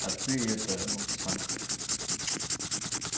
а ты это ну самое как бы